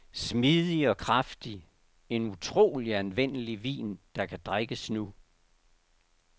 Smidig og kraftig, en utrolig anvendelig vin, der kan drikkes nu.